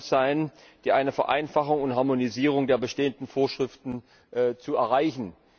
sein, um eine Vereinfachung und Harmonisierung der bestehenden Vorschriften zu erreichen.